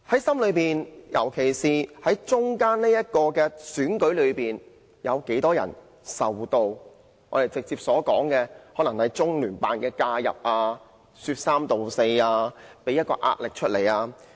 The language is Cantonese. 說到在心中，在特首選舉期間，有多少人受到因中聯辦或其他機構的介入或說三道四而產生的壓力？